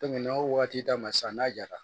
n'a y'o waati d'a ma sisan n'a jara